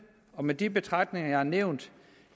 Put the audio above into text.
og med de betragtninger jeg har nævnt